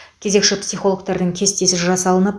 кезекші психологтардың кестесі жасалынып